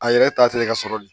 A yɛrɛ tari ka sɔrɔ de